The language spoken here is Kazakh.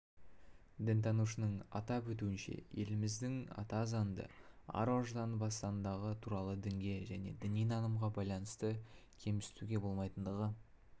дінтанушының атап өтуінше еліміздің ата заңында ар-ождан бастандығы туралы дінге және діни нанымға байланысты кемсітуге болмайтындығы